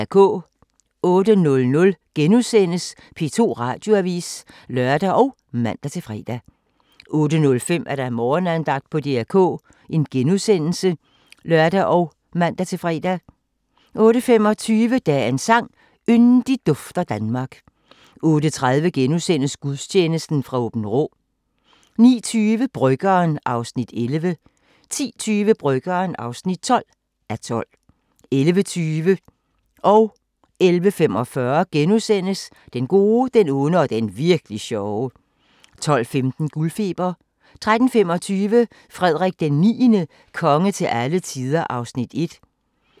08:00: P2 Radioavis *(lør og man-fre) 08:05: Morgenandagten på DR K *(lør og man-fre) 08:25: Dagens sang: Yndigt dufter Danmark 08:30: Gudstjeneste fra Aabenraa * 09:20: Bryggeren (11:12) 10:20: Bryggeren (12:12) 11:20: Den gode, den onde og den virk'li sjove * 11:45: Den gode, den onde og den virk'li sjove * 12:15: Guldfeber 13:25: Frederik IX – konge til alle tider (Afs. 1)